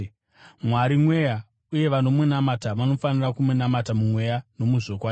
Mwari mweya, uye vanomunamata vanofanira kumunamata mumweya nomuzvokwadi.”